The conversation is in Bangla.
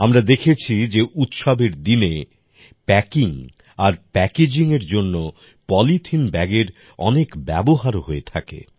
আমরা দেখেছি যে উৎসবের দিনে প্যাকিং আর প্যাকেজিং এর জন্য পলিথিন ব্যাগের অনেক ব্যবহারও হয়ে থাকে